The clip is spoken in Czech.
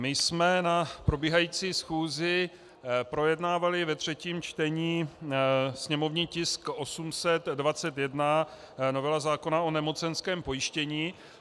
My jsme na probíhající schůzi projednávali ve třetím čtení sněmovní tisk 821, novela zákona o nemocenském pojištění.